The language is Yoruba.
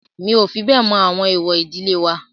Mi ò fi bẹ́ẹ̀ mọ àwọn èwọ̀ ìdílé wa.